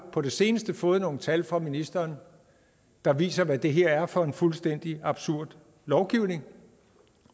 på det seneste har fået nogle tal fra ministeren der viser hvad det her er for en fuldstændig absurd lovgivning